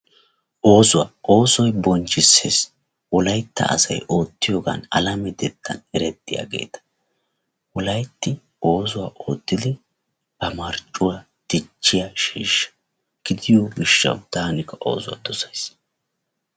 oosuwaa, oosoy bonchchisees, wolaytta asay ottiyoogan alametettan erettiyaageeta wolaytti oosuwaa oottidi ba marccuwa dichchiyaa sheeshsha gidiyo gishawu taani oosuwaa dosays.